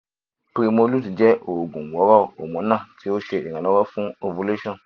primolut jẹ oogun woro hormonal ti o ṣe iranlọwọ fun ovulation